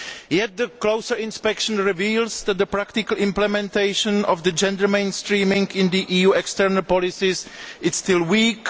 Yet, closer inspection reveals that the practical implementation of gender mainstreaming in the EU's external policies is still weak.